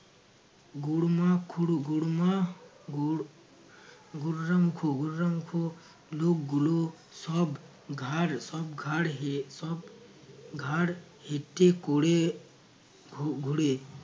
গুড়মা খুরো গুড়মা গুর গুররাম খু গুররাম খু লোকগুলো সব ঘাড় সব ঘাড় হে~ সব ঘাড় হেটে করে ঘু~ ঘুরে